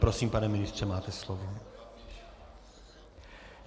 Prosím, pane ministře, máte slovo.